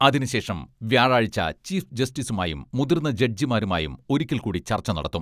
അതിനുശേഷം വ്യാഴാഴ്ച ചീഫ് ജസ്റ്റിസുമായും മുതിർന്ന ജഡ്ജിമാരുമായും ഒരിക്കൽ കൂടി ചർച്ച നടത്തും.